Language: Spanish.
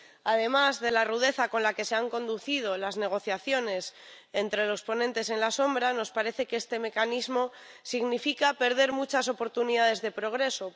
Además de la rudeza con la que se han conducido las negociaciones entre los ponentes alternativos, nos parece que este Mecanismo significa perder muchas oportunidades de progreso.